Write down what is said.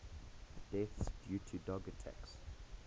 deaths due to dog attacks